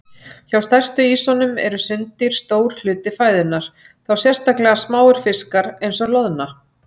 Hjá stærstu ýsunum eru sunddýr stór hluti fæðunnar, þá sérstaklega smáir fiskar eins og loðna.